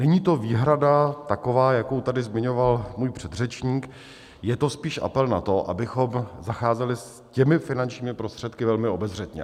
Není to výhrada taková, jakou tady zmiňoval můj předřečník, je to spíš apel na to, abychom zacházeli s těmi finančními prostředky velmi obezřetně.